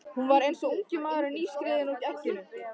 Hún var eins og ungi nýskriðinn úr egginu.